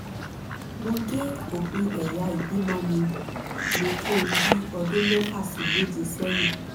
mo gé òpin ẹ̀yà ìbímọ mi ní nǹkan bí ọdún mẹ́fà sí méje sẹ́yìn